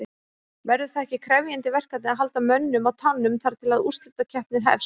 Verður það ekki krefjandi verkefni að halda mönnum á tánum þar til að úrslitakeppnin hefst?